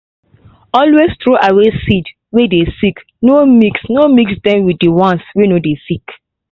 always throway seed way dey sick no mix no mix dem with the ones way no dey sick